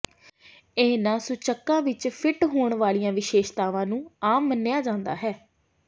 ਇਹਨਾਂ ਸੂਚਕਾਂ ਵਿੱਚ ਫਿੱਟ ਹੋਣ ਵਾਲੀਆਂ ਵਿਸ਼ੇਸ਼ਤਾਵਾਂ ਨੂੰ ਆਮ ਮੰਨਿਆ ਜਾਂਦਾ ਹੈ